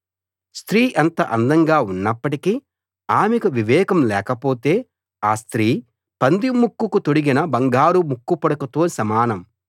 స్త్రీ ఎంత అందంగా ఉన్నప్పటికీ ఆమెకు వివేకం లేకపోతే ఆ స్త్రీ పంది ముక్కుకు తొడిగిన బంగారు ముక్కుపుడకతో సమానం